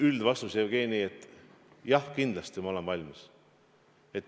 Üldvastus, Jevgeni: jah, kindlasti ma olen valmis.